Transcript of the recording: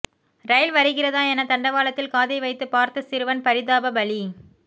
ரயில் வருகிறதா என தண்டவாளத்தில் காதை வைத்து பார்த்த சிறுவன் பரிதாப பலி